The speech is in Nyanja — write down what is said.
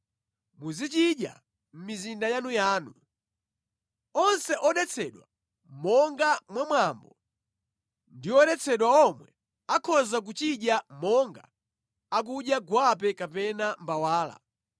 Muzichidya mʼmizinda yanuyanu. Onse odetsedwa monga mwa mwambo ndi oyeretsedwa omwe akhoza kuchidya monga akudya gwape kapena mbawala.